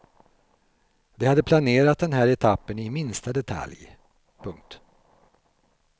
De hade planerat den här etappen i minsta detalj. punkt